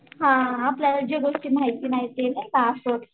हा आपल्याला जे गोष्टी माहिती नाहीत ते नाहीका असं होतं.